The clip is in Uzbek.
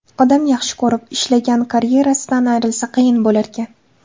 Odam yaxshi ko‘rib, ishlagan karyerasidan ayrilsa, qiyin bo‘larkan.